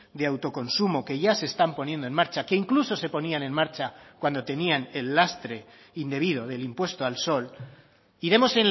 de autoconsumo que ya se están poniendo en marcha que incluso se ponían en marcha cuando tenían el lastre indebido del impuesto al sol iremos